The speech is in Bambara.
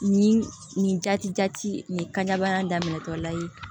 Nin nin jati ɛ jati nin kabana daminɛtɔla ye